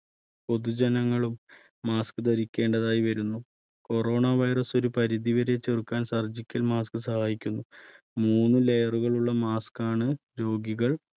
പൊതുജനങ്ങളും mask ധരിക്കേണ്ടതായി വരുന്നു. corona virus ഒരു പരിധിവരെ ചെറുക്കാൻ surgical mask സഹായിക്കുന്നു. മൂന്ന് layer കളുള്ള mask ആണ് രോഗികൾ